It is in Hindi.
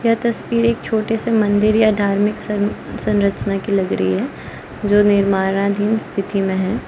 यह तस्वीर एक छोटे से मंदिर या धार्मिक सन संरचना की लग रही है जो निर्माणाधीन स्थिति में है।